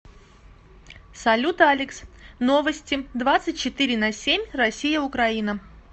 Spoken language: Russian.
салют алекс новости двадцать четыре на семь россия украина